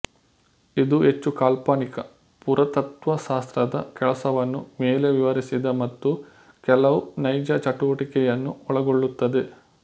ಇದು ಹೆಚ್ಚು ಕಾಲ್ಪನಿಕ ಪುರಾತತ್ತ್ವ ಶಾಸ್ತ್ರದ ಕೆಲಸವನ್ನು ಮೇಲೆ ವಿವರಿಸಿದ ಮತ್ತು ಕೆಲವು ನೈಜ ಚಟುವಟಿಕೆಯನ್ನು ಒಳಗೊಳ್ಳುತ್ತದೆ